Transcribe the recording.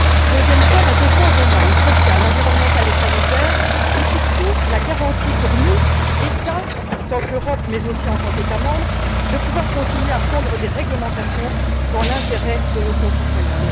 Deuxième point, la défense des normes sociales, environnementales et sanitaires et surtout, la garantie pour nous, États en tant qu'Europe, mais aussi en tant qu'États membres, de pouvoir continuer à prendre des réglementations dans l'intérêt de nos concitoyens.